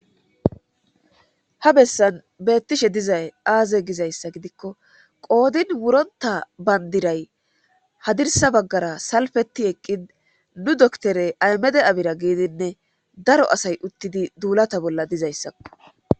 Ha bessan beettishe dizay aaze gizayssa gidikko qoodin wuronta bandiray hadirsa baggara salfeti eqqin nu doktore aymede abira gididinne daro asay uttidi duulata bolla dizayssakko.